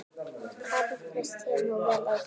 Farnist þér nú vel, Eygló.